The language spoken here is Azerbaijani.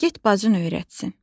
Get bacın öyrətsin.